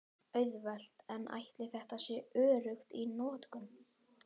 Auðvelt en ætli þetta sé öruggt í notkun?